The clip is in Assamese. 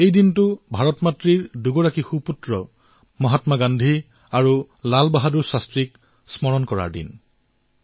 এই দিনটো মা ভাৰতীৰ দুজন মহান সন্তান মহাত্মা গান্ধী আৰু লাল বাহাদুৰ শাস্ত্ৰীক স্মৰণ কৰাৰ দিন